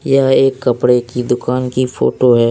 यह एक कपड़े की दुकान की फोटो है।